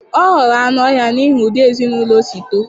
Ọ ghọrọ anụ ọhịa n'ihi ụdị ezinụlọ o si too.